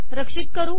रक्षित करू